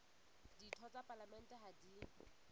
ditho tsa palamente ha di